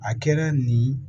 A kɛra nin